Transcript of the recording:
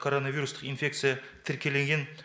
короновирустық инфекция тіркелінген